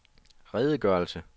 redegørelse